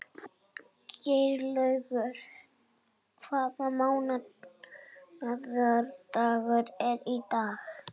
Geirlaugur, hvaða mánaðardagur er í dag?